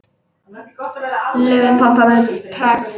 Laufin pompa með pragt.